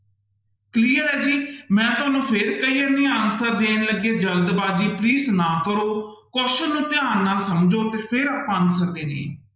Clear ਹੈ ਜੀ ਮੈਂ ਤੁਹਾਨੂੰ ਫਿਰ ਕਹੀ ਜਾਂਦੀ ਹਾਂ answer ਦੇਣ ਲੱਗੇ ਜ਼ਲਦਬਾਜ਼ੀ please ਨਾ ਕਰੋ question ਨੂੰ ਧਿਆਨ ਨਾਲ ਸਮਝੋ ਤੇ ਫਿਰ ਆਪਾਂ answer ਦੇਣੇ ਹੈ।